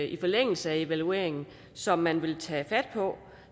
i forlængelse af evalueringen som man vil tage fat på